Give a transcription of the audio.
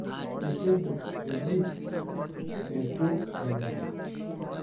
Iteji eji etu enya ?